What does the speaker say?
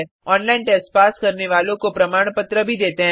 online test pass करने वालों को प्रमाण पत्र भी देते हैं